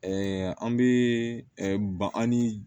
an bɛ ba an ni